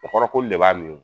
O kɔrɔ k'olu de b'a nun